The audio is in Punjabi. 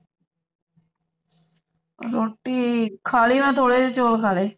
ਰੋਟੀ ਖਾ ਲਈ ਮੈਂ ਥੋੜੇ ਜਿਹੇ ਚੌਲ ਖਾ ਲਏ